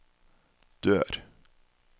dør